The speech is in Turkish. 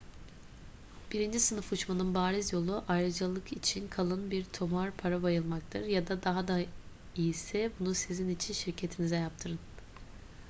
birinci sınıf uçmanın bariz yolu ayrıcalık için kalın bir tomar para bayılmaktır ya da daha da iyisi bunu sizin için şirketinize yaptırın